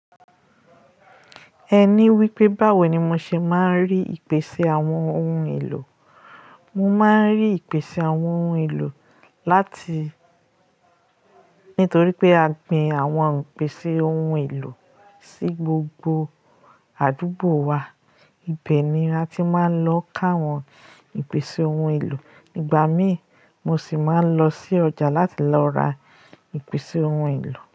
Ẹ ní wípé báwo ni mo ṣe máa ń rí ìpèsè àwọn ohun èlò. Mo máa ń rí ìpèsè àwọn ohun èlò láti nítorí pé a gbin àwọn ìpèsè ohun èlò sí gbogbo àdúgbò wa. Ibẹ̀ ni a ti máa ń lọ káwọn ìpèsè ohun èlò. Igbà mí, mo sì máa ń lọ sí ọjà láti lọ ra ìpèsè ohun èlò.